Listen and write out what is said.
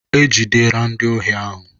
Ejidera ndị ohi ahụ.